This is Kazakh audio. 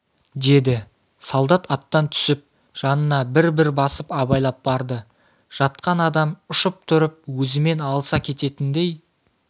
деді солдат аттан түсіп жанына бір-бір басып абайлап барды жатқан адам ұшып тұрып өзімен алыса кететіндей